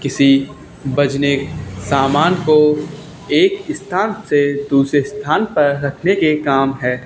किसी बजने सामान को एक स्थान से दूसरे स्थान पर रखने के काम है।